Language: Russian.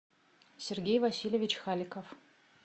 сергей васильевич халиков